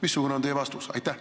Missugune on teie vastus?